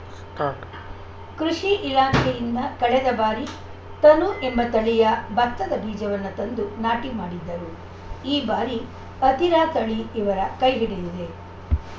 start ಕೃಷಿ ಇಲಾಖೆಯಿಂದ ಕಳೆದ ಬಾರಿ ತನು ಎಂಬ ತಳಿಯ ಬತ್ತದ ಬೀಜವನ್ನು ತಂದು ನಾಟಿ ಮಾಡಿದ್ದರು ಈ ಬಾರಿ ಅತಿರಾ ತಳಿ ಇವರ ಕೈ ಹಿಡಿದಿದೆ